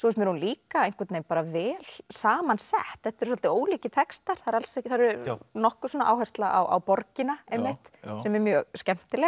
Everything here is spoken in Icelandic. mér hún líka einhvern veginn vel saman sett þetta eru svolítið ólíkir textar það er nokkur áhersla á borgina einmitt sem er mjög skemmtileg